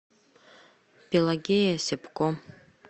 пелагея сепко